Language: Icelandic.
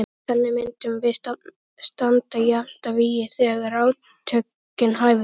Þannig myndum við standa jafnt að vígi þegar átökin hæfust.